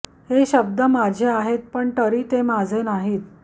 हे शब्द माझे आहेत पण तरी ते माझे नाहीत